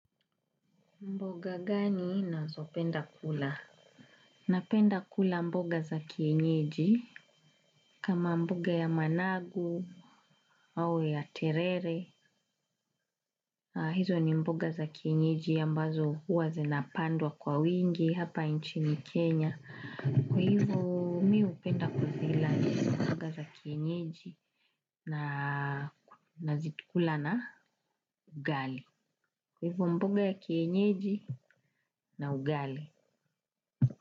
Mboga gani nazo penda kula? Napenda kula mboga za kienyeji. Kama mboga ya managu au ya terere. Hizo ni mboga za kienyeji ambazo huwa zinapandwa kwa wingi hapa nchini Kenya. Kwa hivo mihupenda kuzila mboga za kienyeji na zitukula na ugali. Kwa hivu mboga ya kienyeji na ugali.